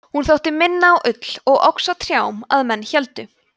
hún þótti minna á ull og óx á trjám að menn héldu